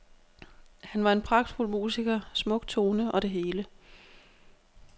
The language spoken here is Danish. Han var en pragtfuld musiker, smuk tone og det hele.